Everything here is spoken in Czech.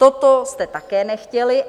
Toto jste také nechtěli.